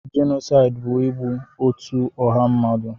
Jenosaịd bụ igbu otú ọha mmadụ.